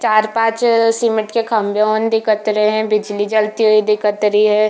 चार पांच समेत के खंभे दिखत रहै है बिजली जलती हुई दिखत रही है।